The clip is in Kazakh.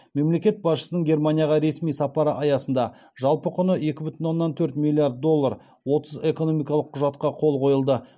мемлекет басшысының германияға ресми сапары аясында жалпы құны екі бүтін оннан төрт миллиард доллар отыз экономикалық құжатқа қол қойылды